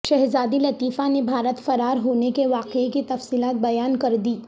شہزادی لطیفہ نے بھارت فرارہونے کے واقعے کی تفصیلات بیان کردیں